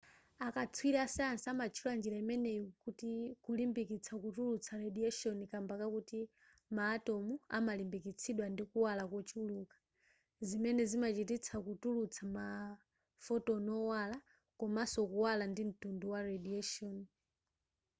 akatswiri asayansi amatchula njira imeneyi kuti kulimbikitsa kutulutsa radiation kamba kakuti ma atom amalimbikitsidwa ndi kuwala kochuluka zimene zimachititsa kutulutsa ma photon owala komanso kuwala ndi mtundu wa radiation